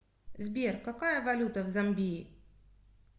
сбер какая валюта в замбии